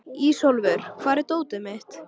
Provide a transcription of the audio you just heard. Ísólfur, hvar er dótið mitt?